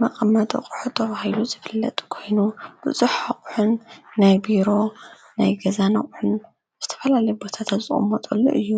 መቐመጠ አቁሑ ተዉሂሉ ዝፍለጥ ኮይኑ ብፁኅቕሕን ናይ ቢሮ ናይ ገዛን ቑሕን ምስተፈልል ቦሳተጽኦም ሞጠሉ እዩ